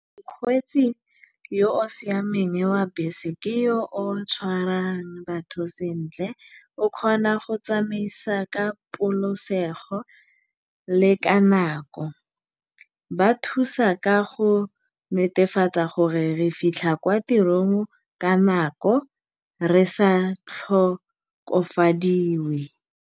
Mokgwetsi yo o siameng wa bese ke yo o tshwarang batho sentle, o kgona go tsamaisa ka le ka nako. Ba thusa ka go netefatsa gore re fitlha kwa tirong ka nako, re sa tlhokofadiwe.